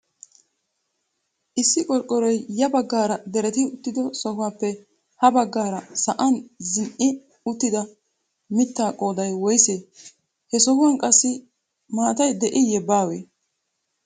Issi qorqqoroy ya baggaara diretti uttido sohuwappe ha baggaara sa'an zin"i uttida miittaa qooday woysee? he sohuwan qassi maatay de'iiye baawee?